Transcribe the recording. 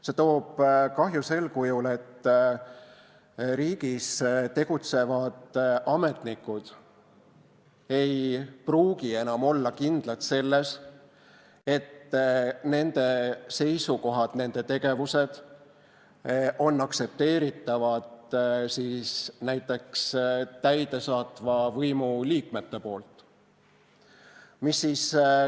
See toob kahju sel kujul: riigis tegutsevad ametnikud ei pruugi enam olla kindlad selles, et nende seisukohti ja nende tegevusi aktsepteerivad näiteks täidesaatva võimu liikmed.